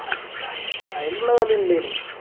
അയിനുള്ള കളി ഉണ്ടേനു